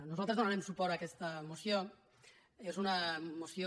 nosaltres donarem suport a aquesta moció és una moció